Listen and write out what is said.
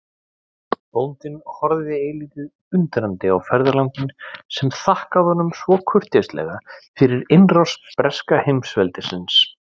Bóndinn horfði eilítið undrandi á ferðalanginn sem þakkaði honum svo kurteislega fyrir innrás breska heimsveldisins.